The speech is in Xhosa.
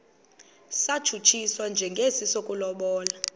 satshutshiswa njengesi sokulobola